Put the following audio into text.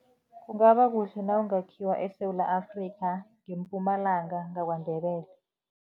Kungaba kuhle nawungakhiwa eSewula Afrika, ngeMpumalanga, ngaKwaNdebele.